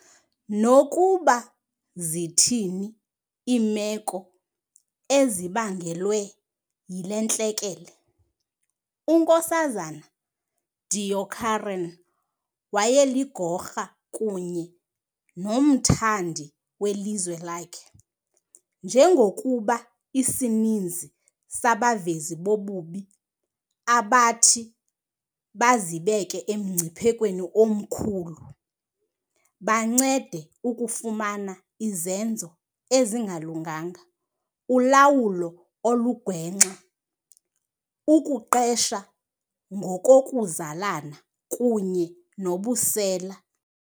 Nokuba zithini iimeko ezibangelwe yile ntlekele, uNks Deokaran wayeligokra kunye nomthandi welizwe lakhe. Njengokuba isininzi sabavezi bobubi abathi bazibeke emngciphekweni omkhulu, bancede ukufumana izenzo ezingalunganga, ulawulo olugwenxa, ukuqesha ngokokuzalana kunye nobusela.